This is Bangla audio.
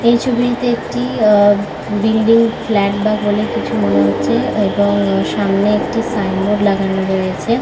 এই ছবিটিতে অ-অ বিল্ডিং ফ্ল্যাট বা বলে কিছু মনে হচ্ছে এবং সামনে একটি সাইন বোর্ড লাগানো রয়েছে।